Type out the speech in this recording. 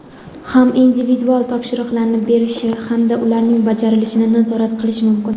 ham individual topshiriqlarni berishi hamda ularning bajarilishini nazorat qilishi mumkin.